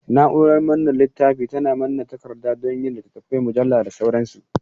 Na'urar manne littafi tana manne takarda don yin littattafai, mujallu da sauransu.